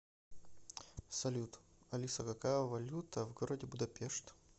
салют алиса какая валюта в городе будапешт